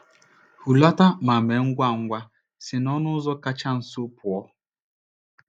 Hulata ma mee ngwa ngwa si n’ọnụ ụzọ kacha nso pụọ.